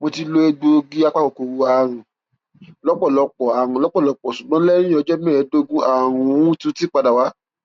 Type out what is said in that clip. mo ti lo egbòogi apakòkòrò àrùn lọpọlọpọ àrùn lọpọlọpọ ṣùgbọn lẹyìn ọjọ mẹẹẹdógún àrùn uti tún padà wá